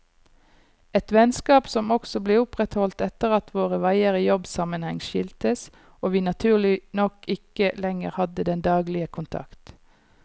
Et vennskap som også ble opprettholdt etter at våre veier i jobbsammenheng skiltes, og vi naturlig nok ikke lenger hadde den daglige kontakt.